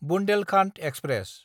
Bundelkhand express